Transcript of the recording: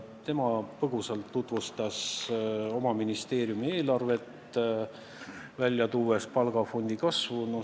Tema tutvustas põgusalt oma ministeeriumi eelarvet ja tõi eriti välja palgafondi kasvu.